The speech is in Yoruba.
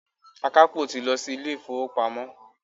Akapo ti lọ sí ilé-ifowopamo.